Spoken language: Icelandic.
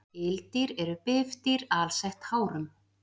Ildýr eru bifdýr alsett hárum.